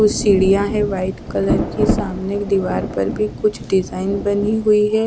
सिड़िया है white colour के सामने दीवार पर भी कुछ डिजाइन बनी हुई है।